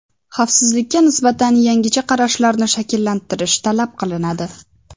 Xavfsizlikda nisbatan yangicha qarashlarni shakllantirish talab qilinadi.